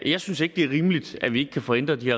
jeg synes ikke det er rimeligt at vi ikke kan få ændret de